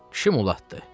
Kişi mlatdı.